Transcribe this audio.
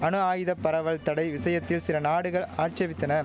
அணு ஆயுத பரவல் தடை விஷயத்தில் சில நாடுகள் ஆட்சேபித்தன